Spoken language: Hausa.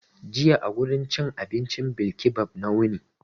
Jiya a wurin cin abincin bilkibab na wuni.